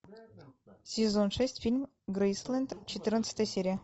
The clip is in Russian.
сезон шесть фильм грейсленд четырнадцатая серия